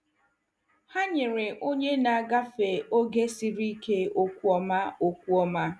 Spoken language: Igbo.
Ha nyere onye na-agafe oge siri ike okwu ọma. okwu ọma.